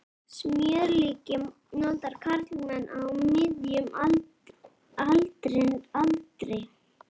Smjörlíki nota karlmenn á miðjum aldri aldrei.